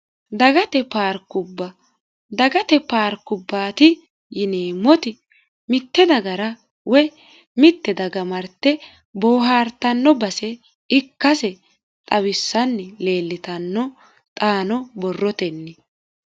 dagate paarkubba dagate paarkubbaati yineemmoti mitte dagara woy mitte daga narte boohartanno base ikkise xawissanni lerllitanno xaano borrotenni